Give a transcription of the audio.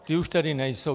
Ty už tady nejsou.